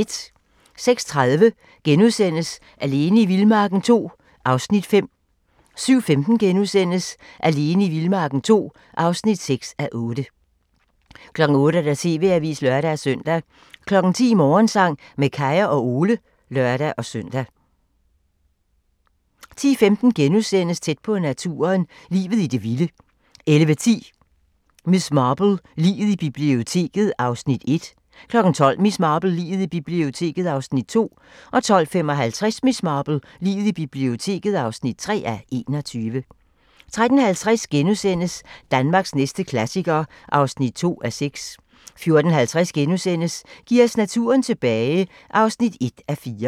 06:30: Alene i vildmarken II (5:8)* 07:15: Alene i vildmarken II (6:8)* 08:00: TV-avisen (lør-søn) 10:00: Morgensang med Kaya og Ole (lør-søn) 10:15: Tæt på naturen - Livet i det vilde * 11:10: Miss Marple: Liget i biblioteket (1:21) 12:00: Miss Marple: Liget i biblioteket (2:21) 12:55: Miss Marple: Liget i biblioteket (3:21) 13:50: Danmarks næste klassiker (2:6)* 14:50: Giv os naturen tilbage (1:4)*